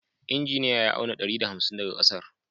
Injiniya ya auna ɗari da hamsin daga ƙasar